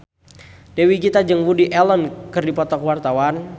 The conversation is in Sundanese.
Dewi Gita jeung Woody Allen keur dipoto ku wartawan